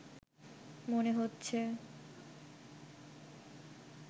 মনে হচ্ছে